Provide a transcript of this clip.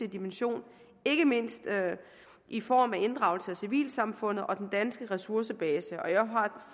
dimension ikke mindst i form af inddragelse af civilsamfundet og den danske ressourcebase jeg er